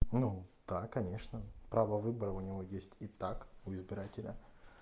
ну да конечно право выбора у него есть итак у избирателя